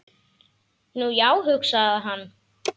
Nú, já, hugsaði hann.